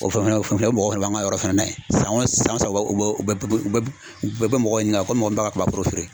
O fɛnɛ o kɔfɛ o mɔgɔ fɛnɛ b'an ka yɔrɔ fana na yen san o san u bɛ mɔgɔ ɲininka ko mɔgɔ bɛ ka kaba foro feere